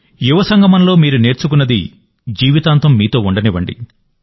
యువ సంగమంలో మీరు నేర్చుకున్నది జీవితాంతం మీతో ఉండనివ్వండి